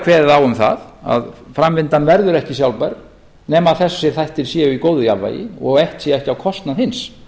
kveðið á um það að framvindan verður ekki sjálfbær nema að þessir þættir séu í góðu jafnvægi og eitt sé ekki á kostnað hins